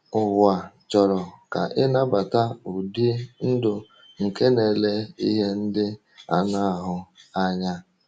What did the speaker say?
Ụwa chọrọ ka ị nabata ụdị ndụ nke na-ele ihe ndị anụ ahụ anya.